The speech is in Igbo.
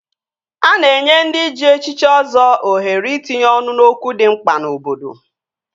A na-enye ndị ji echichi Ọzọ ohere itinye ọnụ n'okwu dị mkpa n'obodo